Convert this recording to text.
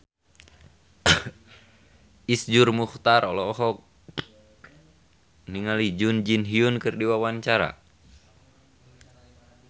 Iszur Muchtar olohok ningali Jun Ji Hyun keur diwawancara